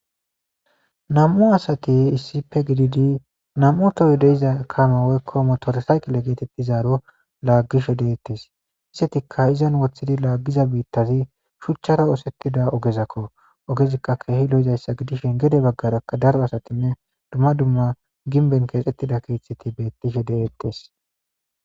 Nam'u asati issipe gididi nam'u toy de'iza kame woyko motore sakile getetizaro lagishe detes izetika izan othidi lagiza bitazi shuchan osetdia ogezakko ogezikka jehi lo'izasakko gede bagarakka dumma dumma ginben kexetida